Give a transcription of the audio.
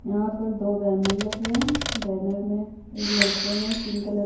यहाँ पर दो बैनर लगे बैनर में एक लड़के ने पिंक कलर --